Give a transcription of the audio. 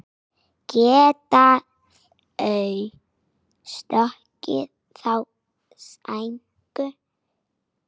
Geta þeir stöðvað þá sænsku?